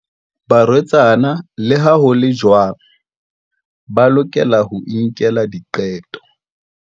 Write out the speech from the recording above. Barwetsana, le ha ho le jwalo, ba lokela ho inkela diqeto.